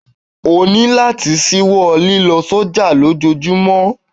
O ní láti ṣíwọ́ lílọ sọ́jà lójojúmọ́!